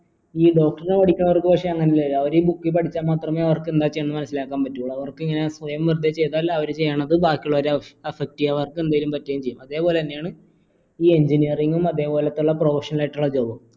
ഈ doctor ന് പടിക്കണോർക്ക് പക്ഷെ അവരീ book പഠിച്ച മാത്രമേ അവർക്ക് എന്താ ചെയ്യേണ്ടതെന്ന് മനസ്സിലാക്കാൻ പറ്റും അവർക്കിങ്ങനെ സ്വയം വെറുതെ ചെയ്താൽ അവർ ചെയ്യുന്നത് ബാക്കിയുള്ളവരെ affect ചെയ്യും അവർക്കെന്തേലും പറ്റുകയും ചെയ്യും അതേപോലെ തന്നെയാണ് ഈ engineering ഉം അതേപോലത്തുള്ള professional ആയിട്ടുള്ള job ഉം